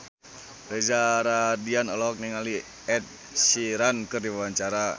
Reza Rahardian olohok ningali Ed Sheeran keur diwawancara